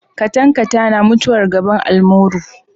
Katankatana mutuwar gaban almuru.